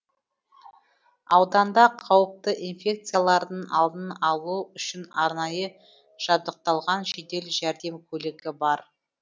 ауданда қауіпті инфекциялардың алдын алу үшін арнайы жабдықталған жедел жәрдем көлігі бар